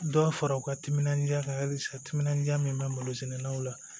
Dɔ fara u ka timinandiya ka halisa timinan diya min bɛ malosɛnɛlaw la